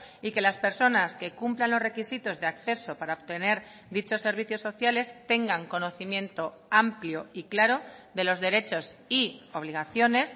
y que las personas que cumplan los requisitos de acceso para obtener dichos servicios sociales tengan conocimiento amplio y claro de los derechos y obligaciones